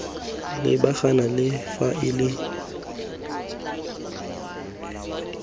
lebagana le faele nngwe le